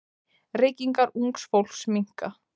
Reykingar ungs fólks minnka.